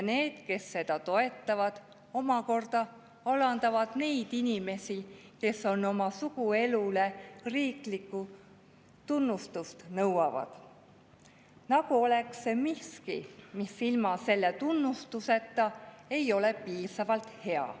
Need, kes seda toetavad, omakorda alandavad neid inimesi, kes oma suguelule riiklikku tunnustust nõuavad, nagu oleks see miski, mis ilma selle tunnustuseta ei ole piisavalt hea.